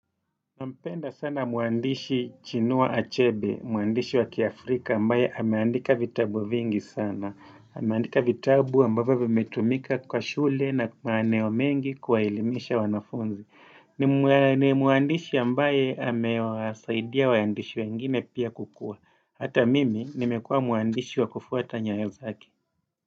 Nampenda sana muandishi chinua achebe, muandishi wa kiafrika ambaye ameandika vitabu vingi sana. Ameandika vitabu ambavyo vimetumika kwa shule na maeneo mengi kuwahelimisha wanafunzi. Ni muandishi ambaye amewasaidia waandishi wengine pia kukua. Hata mimi nimekua muandishi wa kufuata nyayo zake.